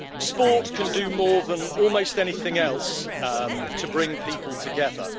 Sport can do more than almost anything else to bring people together.